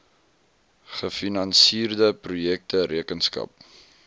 gefinansierde projekte rekenskap